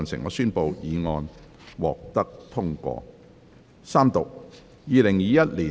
我宣布議案獲得通過。